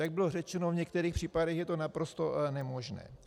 Jak bylo řečeno, v některých případech je to naprosto nemožné.